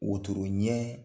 Wotoro ɲɛ